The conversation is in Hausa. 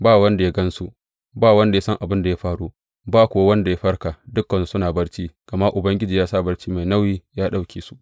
Ba wanda ya gan su, ba wanda ya san abin da ya faru, ba kuwa wanda ya farka, dukansu suna barci gama Ubangiji ya sa barci mai nauyi ya ɗauke su.